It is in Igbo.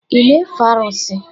Ị na-efe arụsị?